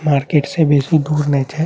Market से बेसी दूर नहीं छे।